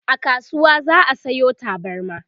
a kasuwa za'a Sayo tabarma